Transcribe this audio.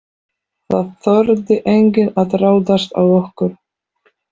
Það þorði enginn að ráðast á okkur.